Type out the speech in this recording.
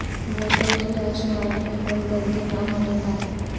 ووٹوں کی رائے شماری میں کوئی غلطی نہ ہونے پائے